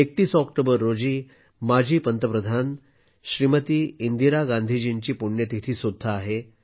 31 October रोजी माजी पंतप्रधान श्रीमती इंदिरा गांधीजींची पुण्यतिथी सुद्धा आहे